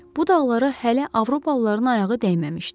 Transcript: Bu dağlara hələ Avropalıların ayağı dəyməmişdi.